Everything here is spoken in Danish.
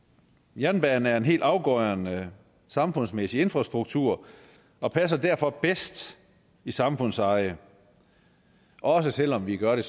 jernbanen er helt afgørende samfundsmæssig infrastruktur og passer derfor bedst i samfundseje også selv om vi gør